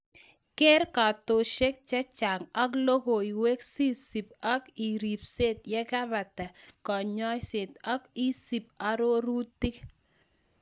Keer kartasok chechang' ak logoiwek sisub ak ripsetv yekebata kanyoiset ak isub arorutik